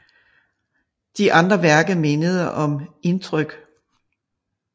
De andre værker mindede om Indtryk